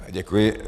Děkuji.